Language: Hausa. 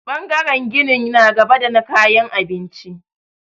Ɓangaren ginin na gaba da na kayan abinci.